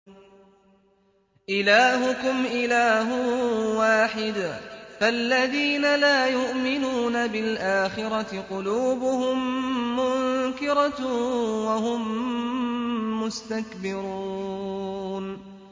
إِلَٰهُكُمْ إِلَٰهٌ وَاحِدٌ ۚ فَالَّذِينَ لَا يُؤْمِنُونَ بِالْآخِرَةِ قُلُوبُهُم مُّنكِرَةٌ وَهُم مُّسْتَكْبِرُونَ